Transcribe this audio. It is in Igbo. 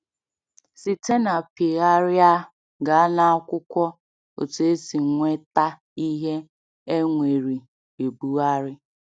Site na Pịgharịa gaa n’Akwụkwọ—Otú E Si Nweta Ihe E Nweri Ebugharị.